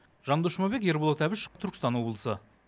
жандос жұмабек ерболат әбішов түркістан облысы